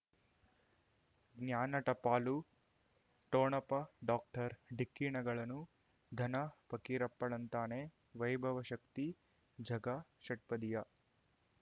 ಜ್ಞಾನ ಟಪಾಲು ಠೋಣಪ ಡಾಕ್ಟರ್ ಢಿಕ್ಕಿ ಣಗಳನು ಧನ ಫಕೀರಪ್ಪ ಳಂತಾನೆ ವೈಭವ್ ಶಕ್ತಿ ಝಗಾ ಷಟ್ಪದಿಯ